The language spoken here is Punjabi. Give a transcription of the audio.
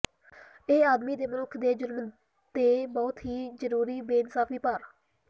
ਇਹ ਆਦਮੀ ਦੇ ਮਨੁੱਖ ਦੇ ਜ਼ੁਲਮ ਦੇ ਬਹੁਤ ਹੀ ਜ਼ਰੂਰੀ ਬੇਇਨਸਾਫ਼ੀ ਭਾਰ